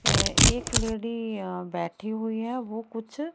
ये एक लेडी अ बैठी हुई है वो कुछ--